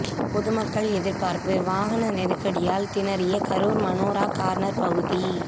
பொதுமக்கள் எதிர்பார்ப்பு வாகன நெருக்கடியால் திணறிய கரூர் மனோரா கார்னர் பகுதி